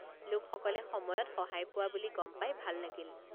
লোকসকলে সময়ত সহায় পোৱা বুলি গম পাই ভাল লাগিল।